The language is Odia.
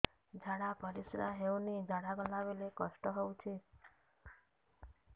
ଝାଡା ପରିସ୍କାର ହେଉନି ଝାଡ଼ା ଗଲା ବେଳେ କଷ୍ଟ ହେଉଚି